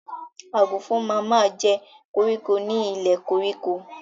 Àgùnfọn ma ma jẹ́ koríko ni ilẹ̀ koríko.